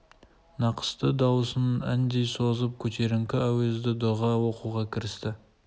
нақысты дауысын әндей созып көтеріңкі әуезді дұға оқуға кірісті